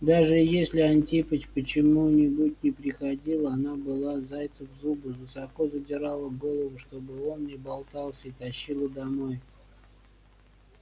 даже если антипыч почему-нибудь не приходил она брала зайца в зубы высоко задирала голову чтобы он не болтался и тащила домой